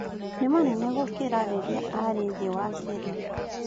Nĩ manene gũkĩra rĩrĩa arĩ thĩĩ wa kĩrĩma